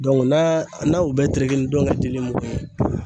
naa n'an u bɛɛ tereke ni ndɔŋɛ dili mugu ye